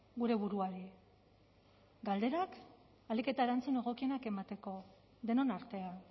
gure buruari galderak ahalik eta erantzun egokienak emateko denon artean